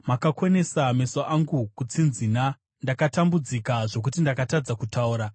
Makakonesa meso angu kutsinzina; ndakatambudzika zvokuti ndakatadza kutaura.